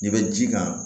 I bɛ ji k'a kan